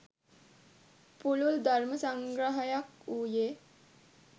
පුළුල් ධර්ම සංග්‍රහයක් වූයේ